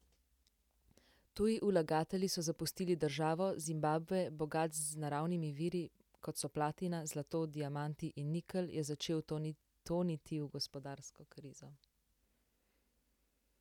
Tuji vlagatelji so zapustili državo, Zimbabve, bogat z naravnimi viri, kot so platina, zlato, diamanti in nikelj, je začel toniti v gospodarsko krizo.